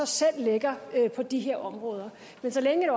selv lægger på de her områder men så længe